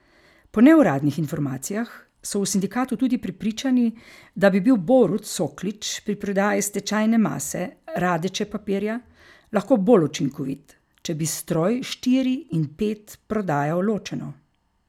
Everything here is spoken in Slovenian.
Po neuradnih informacijah so v sindikatu tudi prepričani, da bi bil Borut Soklič pri prodaji stečajne mase Radeče papirja lahko bolj učinkovit, če bi stroj štiri in pet prodajal ločeno.